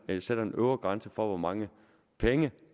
man sætter en øvre grænse for hvor mange penge